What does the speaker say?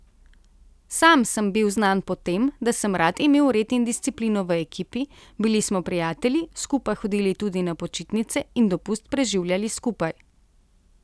Sam sem bil znan po tem, da sem rad imel red in disciplino v ekipi, bili smo prijatelji, skupaj hodili tudi na počitnice in dopust preživljali skupaj.